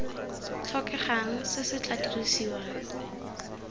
tlhokegang se se tla dirisiwang